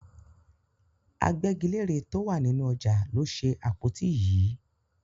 Agbẹ́gilére tó wà nínú ọjà ló ṣe àpótí yìí.